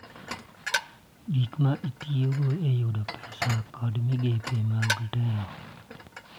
Gik ma itiyogo e yudo pesa, kod migepe mag telo.